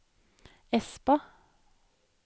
Espa